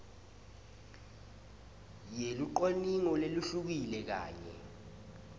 yelucwaningo lehlukile kanye